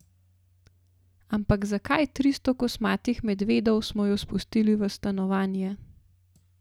Ampak zakaj, tristo kosmatih medvedov, smo jo spustili v stanovanje?